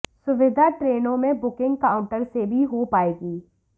सुविधा ट्रेनों में बुकिंग काउंटर से भी हो पाएगी